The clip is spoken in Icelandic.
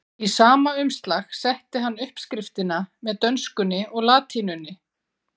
Í sama umslag setti hann uppskriftina með dönskunni og latínunni.